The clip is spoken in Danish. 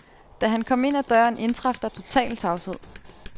Da han kom ind ad døren, indtraf der total tavshed.